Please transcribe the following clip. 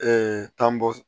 tɔnbɔs